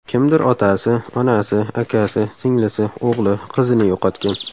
Kimdir otasi, onasi, akasi, singlisi, o‘g‘li, qizini yo‘qotgan.